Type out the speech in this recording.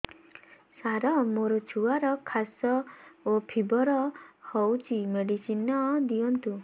ସାର ମୋର ଛୁଆର ଖାସ ଓ ଫିବର ହଉଚି ମେଡିସିନ ଦିଅନ୍ତୁ